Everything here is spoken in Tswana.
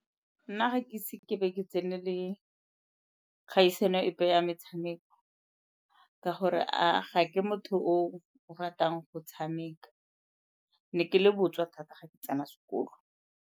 Nna ga ke ise ke be ke tsenele kgaisano epe ya metshameko ka gore ga ke motho o ratang go tshameka. Ne ke le botswa thata ga ke tsena sekolo.